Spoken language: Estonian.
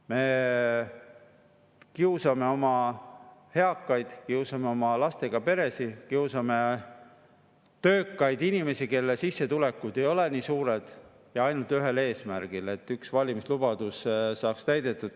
Me kiusame oma eakaid, kiusame lastega peresid, kiusame töökaid inimesi, kelle sissetulekud ei ole suured – ja ainult ühel eesmärgil, et üks valimislubadus saaks täidetud.